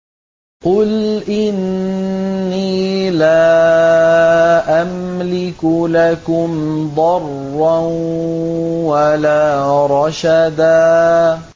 قُلْ إِنِّي لَا أَمْلِكُ لَكُمْ ضَرًّا وَلَا رَشَدًا